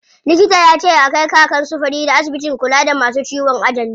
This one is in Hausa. Likita yace a kai Kakan su Farida asibitin kula da masu ciwon ajali.